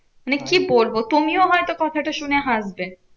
মানে কি বলবো? তুমিও হয়তো কথাটা শুনে হাঁসবে?